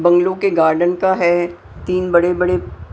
bungalow के garden का है तीन बड़े-बड़े--